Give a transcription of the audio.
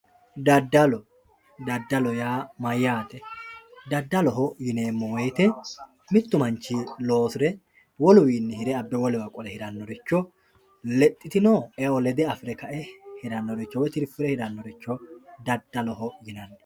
daddalo daddalo yaa mayyate daddaloho yineemmo wote mittu manchi loosire woluwiinni hire abba wolewa qole hirannoricho lexxitino eo lede afirre kae woyi tirfire hirannoricho daddaloho yinanni.